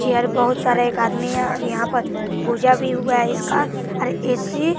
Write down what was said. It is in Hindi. चेयर बहोत सारे एक आदमी है और यहां पर पूजा भी हुआ है इसका और ए_सी --